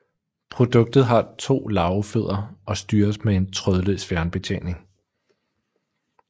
Produktet har to larvefødder og styres med en trådløs fjernbetjening